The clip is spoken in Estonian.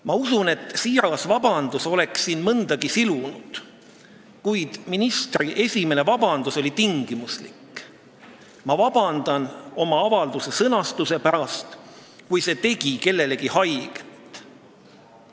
Ma usun, et siiras vabandus oleks mõndagi silunud, kuid ministri esimene vabandus oli tingimuslik: ma vabandan oma avalduse sõnastuse pärast, kui see tegi kellelegi haiget.